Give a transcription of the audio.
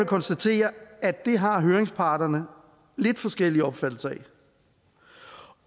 konstatere at det har høringsparterne lidt forskellige opfattelser af